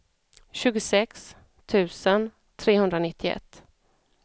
tjugosex tusen trehundranittioett